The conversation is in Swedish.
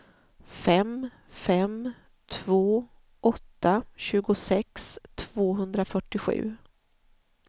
fem fem två åtta tjugosex tvåhundrafyrtiosju